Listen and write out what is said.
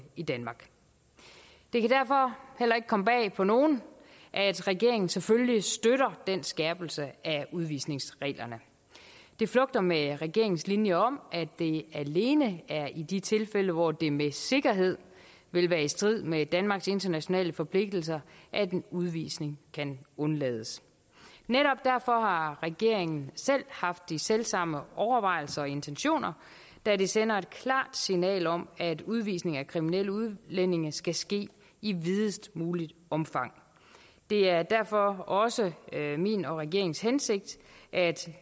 i danmark det kan derfor heller ikke komme bag på nogen at regeringen selvfølgelig støtter den skærpelse af udvisningsreglerne det flugter med regeringens linje om at det alene er i de tilfælde hvor det med sikkerhed vil være i strid med danmarks internationale forpligtelser at en udvisning kan undlades netop derfor har regeringen selv haft de selv samme overvejelser og intentioner da det sender et klart signal om at udvisning af kriminelle udlændinge skal ske i videst muligt omfang det er derfor også min og regeringens hensigt at